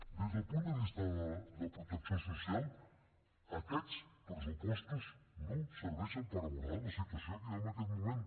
des del punt de vista de protecció social aquests pressupostos no serveixen per abordar la situació que hi ha en aquest moment